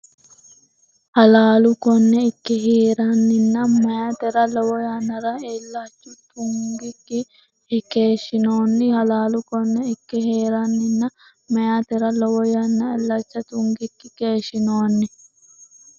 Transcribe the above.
Halaalu konne ikke hee’reennanni meyaatera lowo yannara illacha tungikkinni keeshshinoonni Halaalu konne ikke hee’reennanni meyaatera lowo yannara illacha tungikkinni keeshshinoonni.